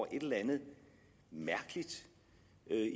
et eller andet mærkeligt